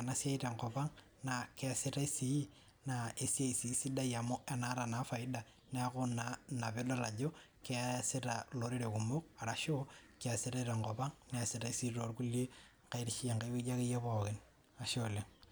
ena siai tenkop ang naa kesitai sii naa esiai sidai amu keeta faida neeku ena pee edol Ajo keesitae tenkop ang neesitae tenkae wueji ake pookin